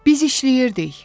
Biz işləyirdik.